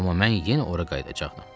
Amma mən yenə ora qayıdacaqdım.